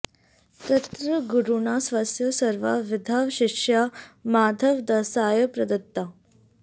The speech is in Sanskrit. तत्र गुरुणा स्वस्य सर्वाः विद्याः शिष्याय माधवदासाय प्रदत्ताः